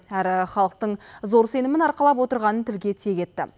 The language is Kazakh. әрі халықтың зор сенімін арқалап отырғанын тілге тиек етті